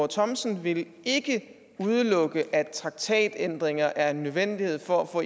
thomsen vil ikke udelukke at traktatændringer er en nødvendighed for at få